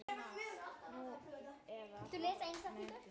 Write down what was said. Nú, eða hátt metin.